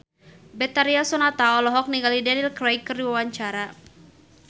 Betharia Sonata olohok ningali Daniel Craig keur diwawancara